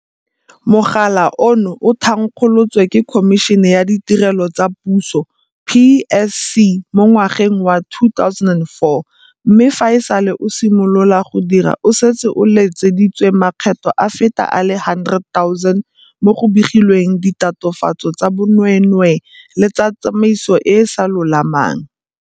Mogala ono o thankgolotswe ke Khomišene ya Ditirelo tsa Puso, PSC, mo ngwageng wa 2004 mme fa e sale o simolola go dira o setse o letseditswe makgetlo a feta a le 100 000 mo go begilweng ditatofatso tsa bonweenwee le tsa tsamaiso e e sa lolamang.